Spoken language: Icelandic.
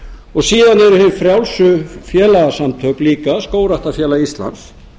og síðan eru hin frjálsu félagasamtök líka skógræktarfélag íslands